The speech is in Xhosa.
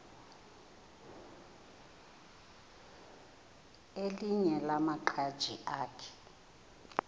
elinye lamaqhaji akhe